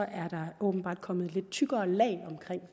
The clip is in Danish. er der åbenbart komme et lidt tykkere lag omkring